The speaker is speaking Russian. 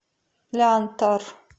лянтор